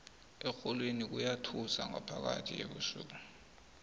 erholweni kuyathusa ngaphakathi ebusuku